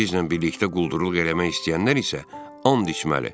Bizimlə birlikdə quldurluq eləmək istəyənlər isə and içməli.